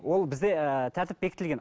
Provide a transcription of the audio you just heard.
ол бізде ыыы тәртіп бекітілген